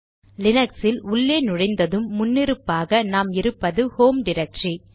லினக்ஸில் உள்ளே நுழைந்ததும் முன்னிருப்பாக நாம் இருப்பது ஹோம் டிரக்டரி